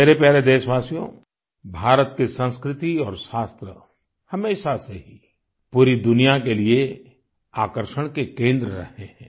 मेरे प्यारे देशवासियो भारत की संस्कृति और शास्त्र हमेशा से ही पूरी दुनिया के लिए आकर्षण के केंद्र रहे हैं